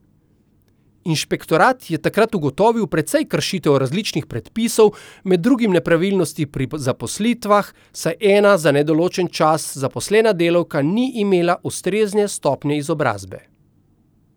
Inšpektorat je takrat ugotovil precej kršitev različnih predpisov, med drugim nepravilnosti pri zaposlitvah, saj ena za nedoločen čas zaposlena delavka ni imela ustrezne stopnje izobrazbe.